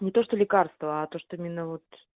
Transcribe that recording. не то что лекарство а то что именно вот